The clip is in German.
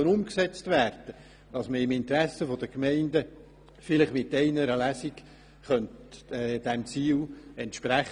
Dies entspricht auch dem Interesse der Gemeinden, die bei uns anfragen, wann das Gesetz endlich umgesetzt werden könne.